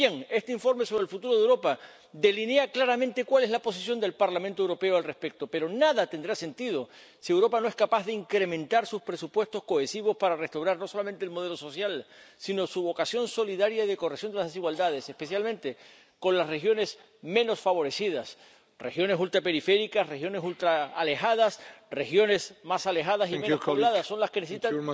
Pues bien, este informe sobre el futuro de Europa delinea claramente cuál es la posición del Parlamento Europeo al respecto, pero nada tendrá sentido si Europa no es capaz de incrementar sus presupuestos cohesivos para restaurar no solamente el modelo social, sino su vocación solidaria y de corrección de las desigualdades, especialmente con las regiones menos favorecidas regiones ultraperiféricas, regiones ultraalejadas, regiones más alejadas y menos pobladas son las que necesitan más...